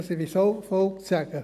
Dies möchte ich schon noch sagen.